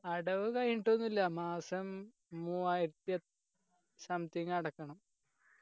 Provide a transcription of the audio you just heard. അടവ് കഴിഞ്ഞൊട്ടുന്നില്ല മാസം മൂവായിരത്തി എത് something അടക്കണം